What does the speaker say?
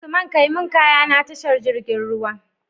Usman kai mun kaya na tashar jirgin ruwa